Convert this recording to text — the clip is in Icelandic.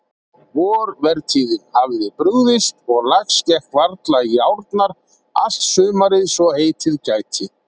Vorvertíðin hafði brugðist og lax gekk varla í árnar allt sumarið svo heitið gæti.